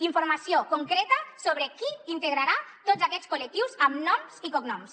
informació concreta sobre qui integrarà tots aquests col·lectius amb noms i cognoms